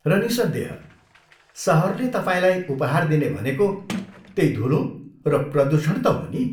र निस्सन्देह, सहरले तपाईँलाई उपहार दिने भनेको त्यै धुलो र प्रदुषण त हो नि।